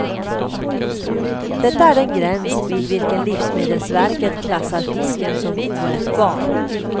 Detta är den gräns vid vilken livsmedelsverket klassar fisken som oätbar.